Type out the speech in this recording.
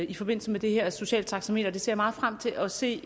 i forbindelse med det her sociale taxameter jeg ser meget frem til at se